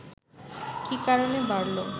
কি কারণে বাড়ল